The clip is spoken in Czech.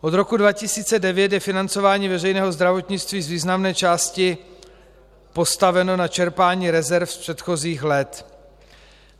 Od roku 2009 je financování veřejného zdravotnictví z významné části postaveno na čerpání rezerv z předchozích let.